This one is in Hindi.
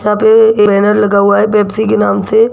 यहां पे ये एक बैनर लगा हुआ है पेप्सी के नाम से।